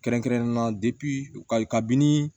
Kɛrɛnkɛrɛnnenya la kabini